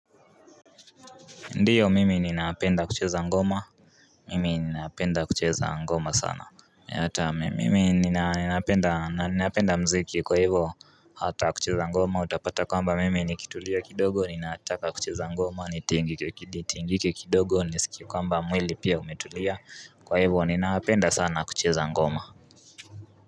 Ndio mimi ninaapenda kucheza ngoma Mimi ninaapenda kucheza ngoma sana ata mimi ninaapenda na napenda mziki kwa hivo hata kucheza ngoma utapata kwamba mimi nikitulia kidogo ninaataka kucheza ngoma nitingike nitingike ki nitingike kidogo niskie kwamba mwili pia umetulia kwa hivo ninaapenda sana kucheza ngoma.